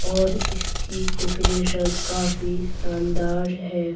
और इसकी डेकोरेशन काफी शानदार है।